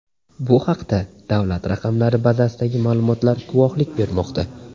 Bu haqda davlat raqamlari bazasidagi ma’lumotlar guvohlik bermoqda.